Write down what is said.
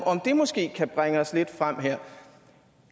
om det måske kan bringe os lidt fremad her